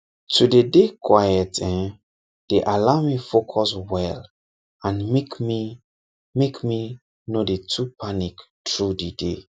to dey dey quiet[um]dey allow me focus well and make me make me no dey too panic through the day